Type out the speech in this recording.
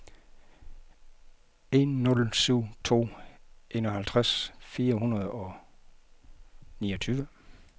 en nul syv to enoghalvtreds fire hundrede og niogtyve